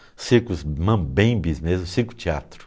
circos mambembes mesmo, circo teatro.